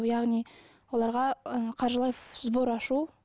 яғни оларға ы қаржылай сбор ашу